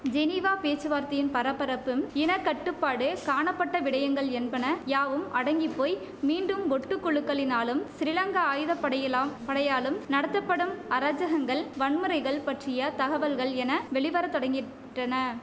Geneva பேச்சுவார்த்தையின் பரபரப்பும் இணக்கட்டுப்பாடு காணப்பட்ட விடயங்கள் என்பன யாவும் அடங்கி போய் மீண்டும் ஒட்டுக்குழுக்களினாலும் சிறிலங்கா ஆயுதப்படையெல்லாம் படையாலும் நடத்தப்படும் அராஜகங்கள் வன்முறைகள் பற்றிய தகவல்கள் என வெளிவர தொடங்கிற்றன